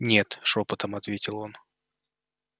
нет шёпотом ответил он